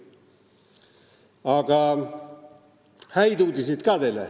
Aga on häid uudiseid ka.